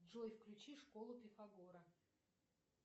джой включи школу пифагора